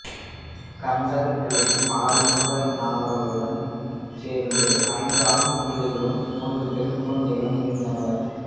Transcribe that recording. கந்தப்பிள்ளைக்கு ஆறுமுக நாவலருடன் சேர்த்து ஐந்து ஆண் பிள்ளைகளும் மூன்று பெண்களும் இருந்தனர்